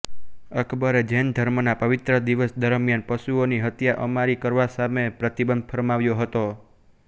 અકબરે જૈન ધર્મના પવિત્ર દિવસ દરમિયાન પશુઓની હત્યા અમારી કરવા સામે પ્રતિબંધ ફરમાવ્યો હતો